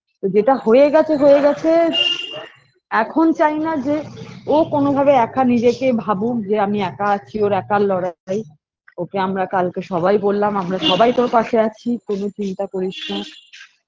যেটা হয়ে গেছে হয়ে গেছে এখন চাইনা যে ও কনোভাবে একা নিজেকে ভাবুক যে আমি একা আছি ওর একার লড়াই ওকে আমরা কালকে সবাই বোললাম আমরা সবাই তোর পাশে আছি কোন চিন্তা করিস না